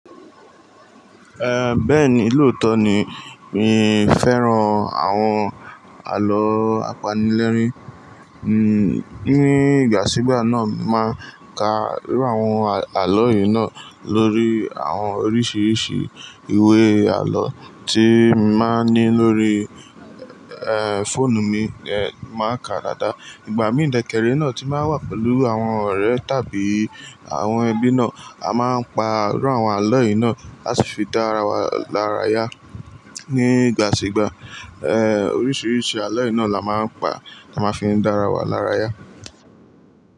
Eh, bẹ́ẹ̀ni lóòótọ́ ni mí fẹ́ràn àwọn àlọ́ apanilẹ́rìn. Ní ìgbà sígbà náà, màá ka irú àwọn àlọ́ yìí náà lórí àwọn oríṣiríṣi ìwé àlọ́ tí máa ń ní lórí, eh, fóònù mi, eh, màá ka dada. Ìgbà mí dẹ̀ kẹ́ ré náà ti ń bá wà pẹ̀lú àwọn ọ̀rẹ́ tàbí àwọn ẹbí náà, a máa ń pa irú àwọn àlọ́ yìí náà, a sì fi dá ara wa lára yá. Ní ìgbà sígbà, eh, oríṣiríṣi àlọ́ yìí náà la máa ń pa kí a máa fi dá ara wa lára yá.